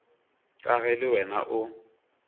ka ge le wena o